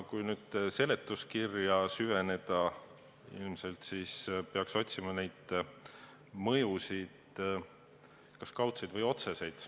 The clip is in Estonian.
Kui nüüd seletuskirja süveneda, siis ilmselt peaks otsima seaduse mõjusid, kas kaudseid või otseseid.